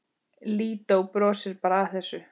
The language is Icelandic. Lídó brosir bara að þessu.